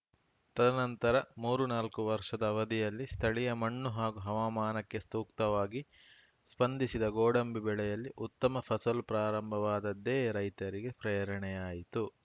ತದನಂತರ ಮೂರುನಾಲ್ಕು ವರ್ಷದ ಅವಧಿಯಲ್ಲಿ ಸ್ಥಳೀಯ ಮಣ್ಣು ಹಾಗೂ ಹವಾಮಾನಕ್ಕೆ ಸ್ತುಕ್ತವಾಗಿ ಸ್ಪಂದಿಸಿದ ಗೋಡಂಬಿ ಬೆಳೆಯಲ್ಲಿ ಉತ್ತಮ ಫಸಲು ಪ್ರಾರಂಭವಾದದ್ದೇ ರೈತರಿಗೆ ಪ್ರೇರಣೆಯಾಯಿತು